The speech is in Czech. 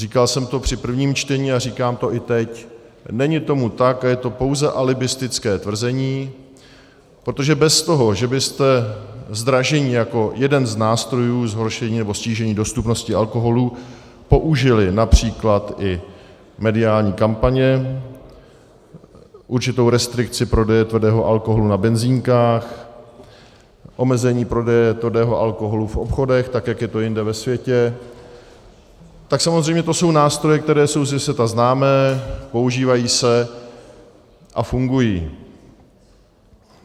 Říkal jsem to při prvním čtení a říkám to i teď, není tomu tak a je to pouze alibistické tvrzení, protože bez toho, že byste zdražení jako jeden z nástrojů zhoršení nebo snížení dostupnosti alkoholu použili například i mediální kampaně, určitou restrikci prodeje tvrdého alkoholu na benzínkách, omezení prodeje tvrdého alkoholu v obchodech tak, jak je to jinde ve světě, tak samozřejmě to jsou nástroje, které jsou ze světa známé, používají se a fungují.